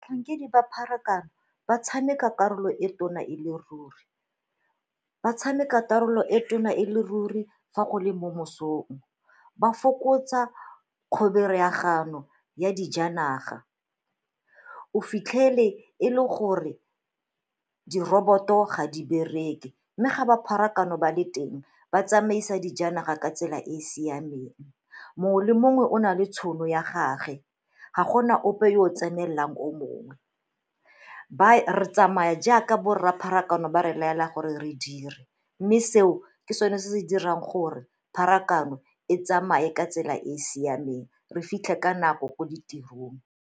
ba pharakano ba tshameka karolo e tona e le ruri, ba tshameka karolo e tona e le ruri fa gole mo mosong. Ba fokotsa ya dijanaga, o fitlhele e le gore di roboto ga di bereke mme ga ba pharakano ba le teng ba tsamaisa dijanaga ka tsela e e siameng, mongwe le mongwe o na le tšhono ya gage ga gona ope yo o tsenelelang o mongwe. Re tsamaya jaaka bo rra pharakano ba re laela gore re dire mme seo ke sone se se dirang gore pharakano e tsamaye ka tsela e e siameng re fitlhe ka nako ko ditirong.